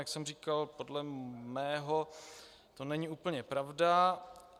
Jak jsem říkal, podle mého to není úplně pravda.